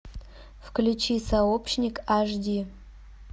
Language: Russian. включи сообщник аш ди